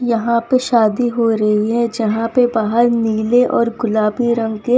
यहां पे शादी हो रही है जहां पे बाहर नीले और गुलाबी रंग के --